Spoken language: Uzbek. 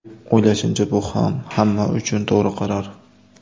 O‘ylashimcha, bu ham hamma uchun to‘g‘ri qaror.